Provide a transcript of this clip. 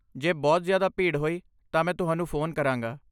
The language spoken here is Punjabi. ਜੇ ਬਹੁਤ ਜ਼ਿਆਦਾ ਭੀੜ ਹੋਈ, ਤਾਂ ਮੈਂ ਤੁਹਾਨੂੰ ਫ਼ੋਨ ਕਰਾਂਗਾ।